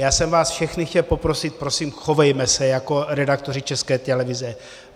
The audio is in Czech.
Já jsem vás všechny chtěl poprosit, prosím, chovejme se jako redaktoři České televize.